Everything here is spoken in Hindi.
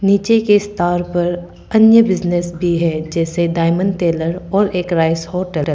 नीचे के स्थान पर अन्य बिजनस भी है जैसे डायमंड टेलर और एक राइस होटल ।